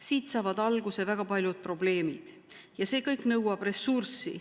Siit saavad alguse väga paljud probleemid ja see kõik nõuab ressurssi.